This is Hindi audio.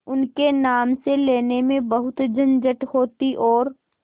उनके नाम से लेने में बहुत झंझट होती और